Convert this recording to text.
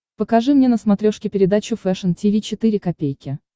покажи мне на смотрешке передачу фэшн ти ви четыре ка